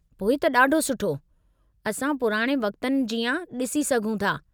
पोइ त ॾाढो सुठो। असां पुराणे वक़्तनि जीआं डि॒सी सघूं था।